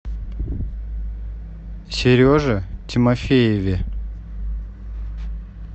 сереже тимофееве